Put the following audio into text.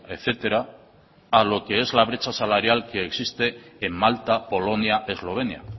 etcétera a lo que es la brecha salarial que existe en malta polonia eslovenia